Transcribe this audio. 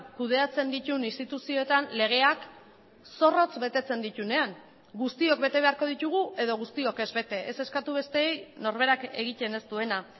kudeatzen dituen instituzioetan legeak zorrotz betetzen dituenean guztiok bete beharko ditugu edo guztiok ez bete ez eskatu besteei norberak egiten ez duena